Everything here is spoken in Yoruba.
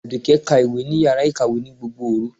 Àdùkẹ́ ka ìwé ní yàrá ìkàwé ní gbogbo òru.